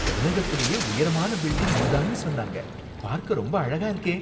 உலகத்துலயே உயரமான பில்டிங் இது தான்னு சொன்னாங்க. பார்க்க ரொம்ப அழகா இருக்கே!